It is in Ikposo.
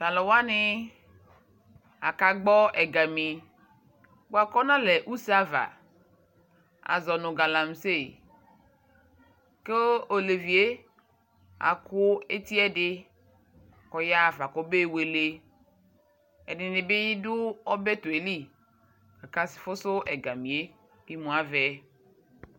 Tu aluwai akagbɔ ɛgami buaku ɔnalɛ useava azɔ nu galamse Ku olevi yɛ aku eti ɛdi ku ɔyaɣa fa kɔbewele Edini bi du ɔbɛtu yɛ li akafusu ɛgamiyɛ